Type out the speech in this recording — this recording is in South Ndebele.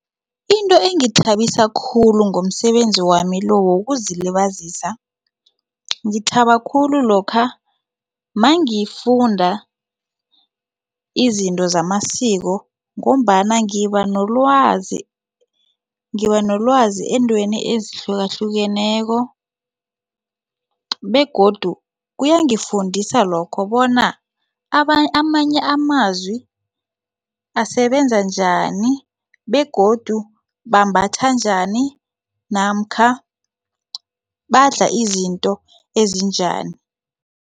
Into engithabisa khulu ngomsebenzi wamilo wokuzilibazisa ngithaba khulu lokha mangifunda izinto zamasiko ngombana ngiba nolwazi ngiba nolwazi eentweni ezihlukahlukeneko begodu kuyangifundisa lokho bona amanye amazwi asebenza njani begodu bambatha njani namkha badla izinto ezinjani.